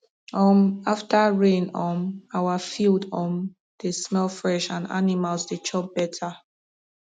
um after rain um our field um dey smell fresh and animals dey chop better